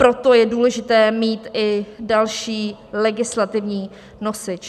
Proto je důležité mít i další legislativní nosič.